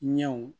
Ɲɛw